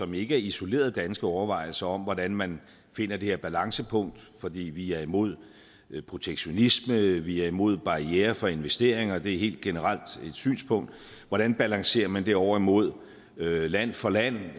som ikke er isolerede danske overvejelser om hvordan man finder det her balancepunkt fordi vi er imod protektionisme vi er imod barrierer for investeringer det er helt generelt et synspunkt hvordan balancerer man det over imod land for land